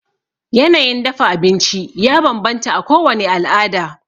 Yanayin dafa abinci ya banbanta a kowani alada